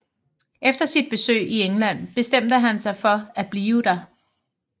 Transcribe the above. Efter sit besøg i England bestemte han sig for at blive der